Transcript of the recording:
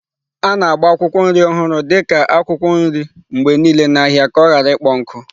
A na-agba akwụkwọ nri ọhụrụ dị ka akwụkwọ nri mgbe niile n'ahịa ka ọ ghara ịkpọ nkụ.